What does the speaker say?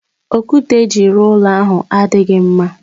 Okwute eji ruo ulo ahu adighi mma